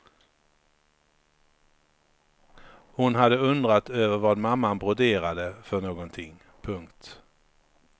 Hon hade undrat över vad mamma broderade för någonting. punkt